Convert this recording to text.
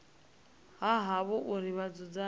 ha havho uri vha dzudzanye